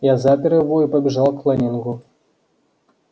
я запер его и побежал к лэннингу